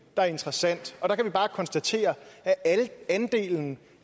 der er interessant og der kan vi bare konstatere at andelen